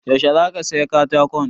Yaushe za ka saya katakon?